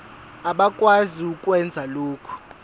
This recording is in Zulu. abakwazi ukwenza lokhu